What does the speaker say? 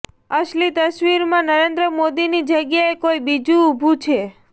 અસલી તસવીરમાં નરેન્દ્ર મોદીની જગ્યાએ કોઈ બીજુ ઊભું છે